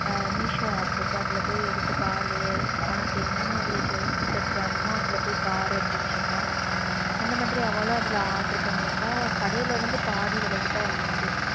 ஆஹ் Meesho app இருக்கு அதுல போய் எடுத்து பாரு உனக்கு எந்த மாதிரி jewels set வேணுமோ அதுல போய் பாருன்னுசொன்னா அந்தமாதிரிஅவளும் அதுல order பண்ணிருந்தா கடையிலேர்ந்து பாதி விலைக்கு தான் இருந்துச்சு.